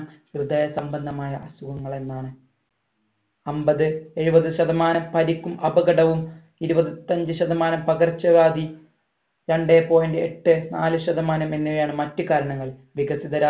ഹൃദയ സംബന്ധമായ അസുഖങ്ങളെന്നാണ് അൻപത് എഴുപത് ശതമാനം പരിക്കും അപകടവും ഇരുപത്തഞ്ചു ശതമാനം പകർച്ചവ്യാധി രണ്ടേ point എട്ട് നാല് ശതമാനം എന്നിവയാണ് മറ്റുകാരണങ്ങൾ വികസിത